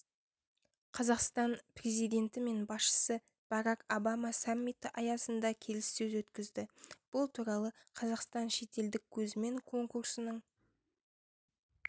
қазақстан президенті мен басшысы барак обама саммиті аясында келіссөз өткізді бұл туралы қазақстан шетелдік көзімен конкурсының